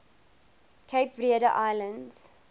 cape verde islands